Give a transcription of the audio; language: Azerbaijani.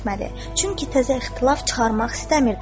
Çünki təzə ixtilaf çıxarmaq istəmirdi.